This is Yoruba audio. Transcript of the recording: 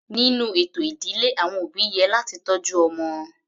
Nínú ètò ìdílé àwọn òbí yẹ láti tọ́jú ọmọ.